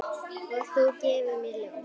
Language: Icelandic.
Og þú gefur mér ljóð.